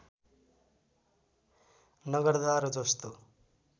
नगर्दा र जस्तो